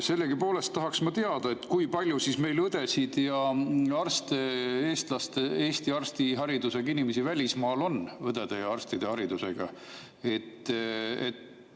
Sellegipoolest tahaksin ma teada, kui palju õdesid ja arste, Eestis hariduse saanud õdesid ja arste välismaal on.